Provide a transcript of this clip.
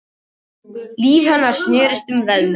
Líf hennar snerist um verðlaun.